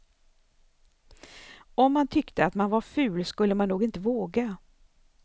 Om man tyckte att man var ful skulle man nog inte våga.